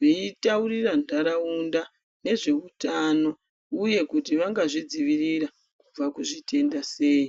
vachitaurira nharaunda nezveutano uye kuti vangazvidziviririra kubva muzvitenda sei.